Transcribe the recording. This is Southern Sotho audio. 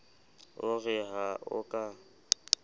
o re ha o ka